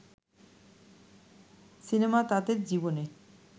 cinema তাদের জীবনের